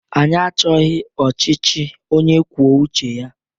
Anyị achọghị ọchịchị onye kwuo uche ya!